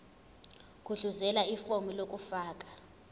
gudluzela ifomu lokufaka